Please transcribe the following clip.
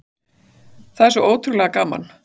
Það er svo ótrúlega gaman